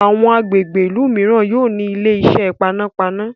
àwọn agbègbè ilú míràn yóò ní Ilé-iṣẹ́ panápaná.